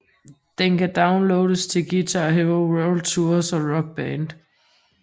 Den kan downloades til Guitar Hero World Tour og Rock Band